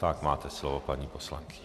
Tak, máte slovo, paní poslankyně.